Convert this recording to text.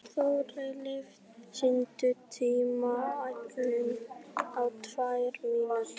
Þórleif, stilltu tímamælinn á tvær mínútur.